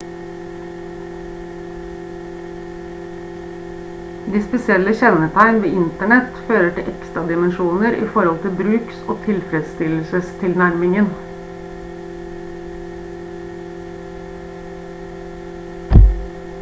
de spesielle kjennetegn ved internett fører til ekstra dimensjoner i forhold til bruks- og tilfredsstillelsestilnærmingen